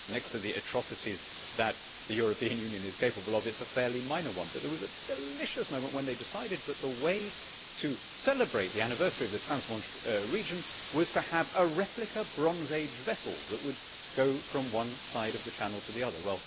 Next to the atrocities that the European Union is capable of, it is a fairly minor one, but there was a delicious moment when they decided that the way to celebrate the anniversary of the Trans Manche Region was to have a replica Bronze Age vessel that would go from one side of the Channel to the other.